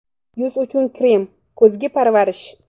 Yuz uchun krem: kuzgi parvarish.